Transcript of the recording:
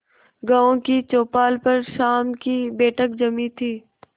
गांव की चौपाल पर शाम की बैठक जमी थी